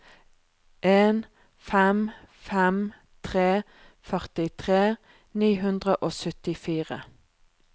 en fem fem tre førtitre ni hundre og syttifire